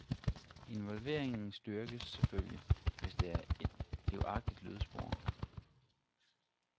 Involveringen styrkes selvfølgelig, hvis der er et livagtigt lydspor.